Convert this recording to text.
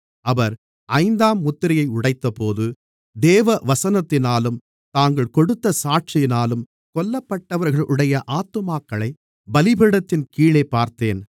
அவர் ஐந்தாம் முத்திரையை உடைத்தபோது தேவவசனத்தினாலும் தாங்கள் கொடுத்த சாட்சியினாலும் கொல்லப்பட்டவர்களுடைய ஆத்துமாக்களைப் பலிபீடத்தின் கீழேப் பார்த்தேன்